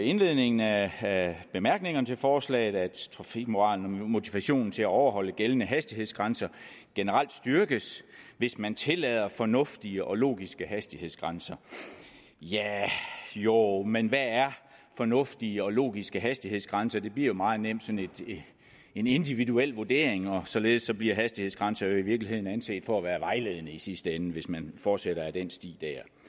indledningen af bemærkningerne til forslaget at trafikmoralen og motivationen til at overholde gældende hastighedsgrænser generelt styrkes hvis man tillader fornuftige og logiske hastighedsgrænser ja jo men hvad er fornuftige og logiske hastighedsgrænser det bliver meget nemt sådan en individuel vurdering og således bliver hastighedsgrænser jo i virkeligheden anset for at være vejledende i sidste ende hvis man fortsætter ad den sti